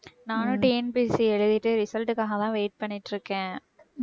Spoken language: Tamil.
நானும் TNPSC எழுதிட்டு result க்காகதான் wait பண்ணிட்டிருக்கேன்.